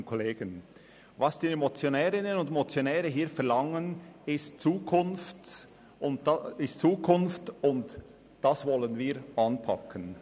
Was die Motionärinnen und Motionäre hier verlangen, ist Zukunft, und das wollen wir anpacken.